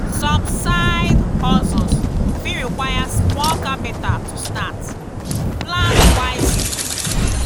some side-hustles fit require small capital to start; plan wisely.